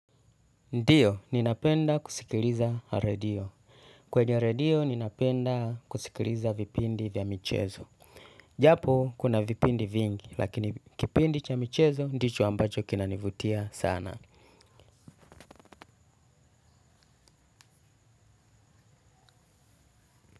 Ndio, ninapenda kusikiliza redio. Kwenye redio, ninapenda kusikiliza vipindi vya michezo. Japo, kuna vipindi vingi, lakini kipindi cha michezo ndicho ambacho kinanivutia sana.